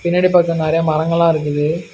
பின்னாடி பாக்க நெறைய மரங்கள்லா இருக்குது.